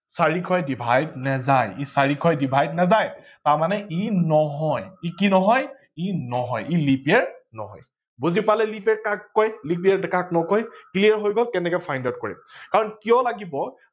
চাৰিশয়ে divide নাযায় ই চাৰিশয়ে divide নাযায় তাৰমানে ই নহয় ই কি নহয় ই নহয় ই leap year নহয়। বুজি পালে leap year কাক কয় leap year কাক নকয়। clear হৈ গল কেনেকে find out কৰিম কাৰন কিয় লাগিব